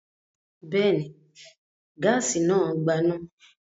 Bẹ́ẹ̀ ni, gáásì náà gbaná.